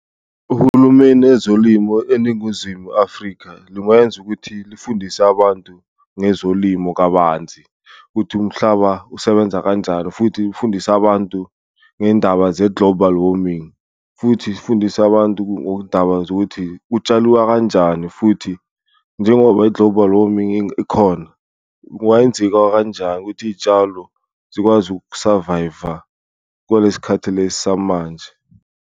Uhulumeni ezolimo eNinguzimu Afrika lungenza ukuthi lifundise abantu ngezolimo kabanzi ukuthi umhlaba usebenza kanjani, futhi ufundise abantu ngendaba ze-global warming, futhi zifundise abantu ngodaba zokuthi kutshaliwa kanjani. Futhi njengoba i-global warming ikhona, ungayenzika kanjani ukuthi iyitshalo zikwazi uku-survivor kwalesikhathi lesi samanje.